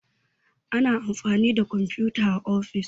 ana amfani da kwamfuta a ofis